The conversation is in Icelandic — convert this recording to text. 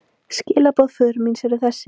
Skilaboð föður míns eru þessi.